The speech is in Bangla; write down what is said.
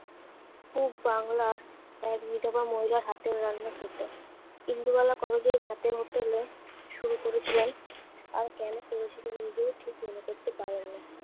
পুব বাংলার এক বিধবা মহিলার হাতের রান্না খেতে। ইন্দুবালা কলেজের ভাতের হোটেলে শুরু করেছিলেন? আর কেন করেছিলেন নিজেও ঠিক মনে করতে পারেন না।